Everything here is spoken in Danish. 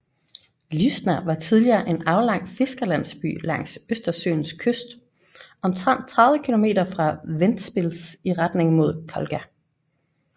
Lūžņa var tidligere en aflang fiskerlandsby langs Østersøens kyst omtrent 30 kilometer fra Ventspils i retning mod Kolka